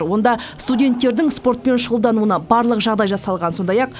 онда студенттердің спортпен шұғылдануына барлық жағдай жасалған сондай ақ